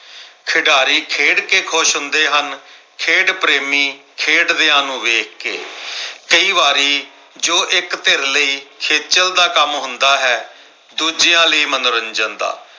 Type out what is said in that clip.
ਖਿਡਾਰੀ ਖੇਡ ਕਿ ਖੁਸ਼ ਹੁੰਦੇ ਹਨ ਖੇਡ ਪ੍ਰੇਮੀ ਖੇਡਦਿਆਂ ਨੂੰ ਵੇਖ ਕੇ ਕਈ ਵਾਰੀ ਜੋ ਇੱਕ ਧਿਰ ਲਈ ਖੇਚਲ ਦਾ ਕੰਮ ਹੁੰਦਾ ਹੈ ਦੂਜਿਆਂ ਲਈ ਮਨੋਰੰਜਨ ਦਾ